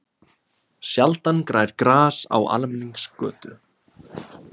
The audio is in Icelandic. Sjaldan grær gras á almenningsgötu.